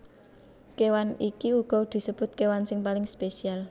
Kéwan iki uga disebut kéwan sing paling spesial